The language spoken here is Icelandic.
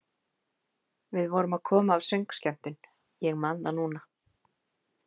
Við vorum að koma af söngskemmtun, ég man það núna.